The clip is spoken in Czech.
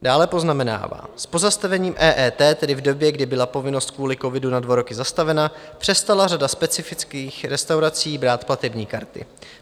Dále poznamenává: "S pozastavením EET, tedy v době, kdy byla povinnost kvůli covidu na dva roky zastavena, přestala řada specifických restaurací brát platební karty.